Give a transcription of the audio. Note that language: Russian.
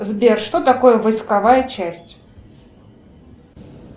сбер что такое войсковая часть